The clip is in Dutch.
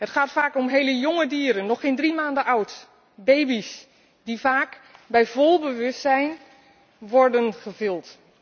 Het gaat vaak om heel jonge dieren, nog geen drie maanden oud. Baby's die vaak bij vol bewustzijn worden gevild.